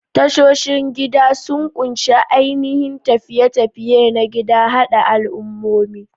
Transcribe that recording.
Tashoshin gida sun ƙunshi ainihin tafiye-tafiye na gida, haɗa al'ummomi.